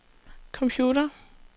computer